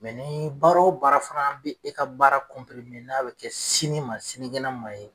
ni baara o baara fana bɛ e ka baara n'a bɛ kɛ sini ma sinikɛnɛ ma ye